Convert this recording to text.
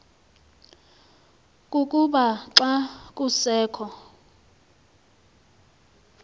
kukuba xa kusekho